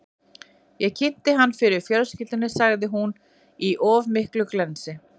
Ég kynnti hann fyrir fjölskyldunni, sagði hún, í of miklu glensi.